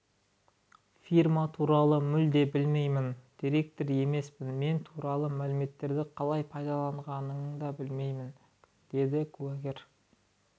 фирма туралы мүлде білмеймін директор емеспін мен туралы мәліметтерді қалай пайдаланғанын да білмеймін деді куәгер